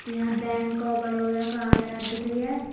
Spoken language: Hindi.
यहाँ बैंक ऑफ बरोडा का दिख रीहा है।